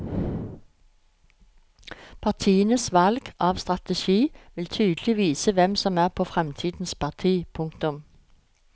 Partienes valg av strategi vil tydelig vise hvem som er på fremtidens parti. punktum